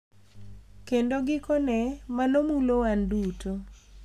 Kendo gikone, mano mulo wan duto.